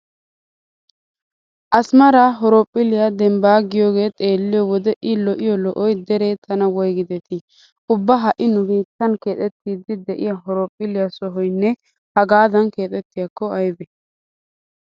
Asimara horophphiliya dembbaa giyogee xeelliyo wode I lo'iyo lo'oy deree tana woygidetii! Ubba ha"i nu biittan keexettiiddi de'iya horophphilliya sohuwanne hagaadan keexxiyakko aybee!